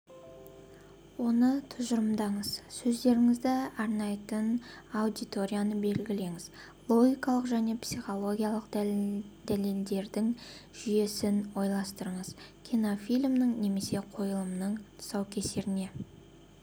оны тұжырымдаңыз сөздеріңізді арнайтын аудиторияны белгілеңіз логикалық және психологиялық дәлелдердің жүйесін ойластырыңыз кинофильмнің немесе қойылымның тұсаукесеріне